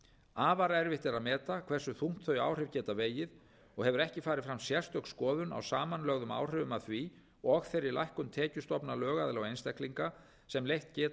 afar erfitt er að meta hversu þungt þau áhrif geta vegið og hefur ekki farið fram sérstök skoðun á samanlögðum áhrifum af því og þeirri lækkun tekjustofna lögaðila og einstaklinga sem leitt geta af ákvæðum þessa frumvarps